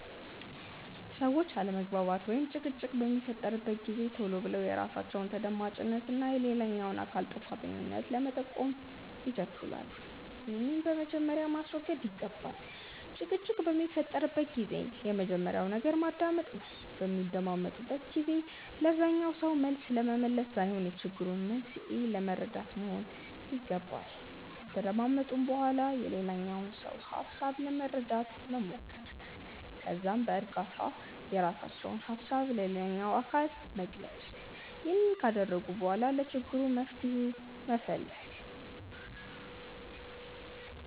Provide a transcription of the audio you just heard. ሰዎች አለመግባባት ወይም ጭቅጭቅ በሚፈጠርበት ጊዜ ቶሎ ብለው የራሳቸውን ተደማጭነት እና የሌላኛውን አካል ጥፋተኛነት ለመጠቆም ይቸኩላሉ። ይህንን በመጀመሪያ ማስወገድ ይገባል። ጭቅጭቅ በሚፈጠርበት ጊዜ የመጀመሪያው ነገር መደማመጥ ነው። በሚደማመጡበት ጊዜ ለዛኛው ሰው መልስ ለመመለስ ሳይሆን የችግሩን መንስኤ ለመረዳት መሆን ይገባል። ከተደማመጡ በኋላ የሌላኛውን ሰው ሀሳብ ለመረዳት መሞከር። ከዛም በእርጋታ የራሳቸውን ሀሳብ ለሌላኛው አካል መግለጽ። ይህንን ካደረጉ በኋላ ለችግሩ መፍትሄ መፈለግ።